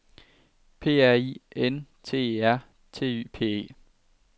P R I N T E R T Y P E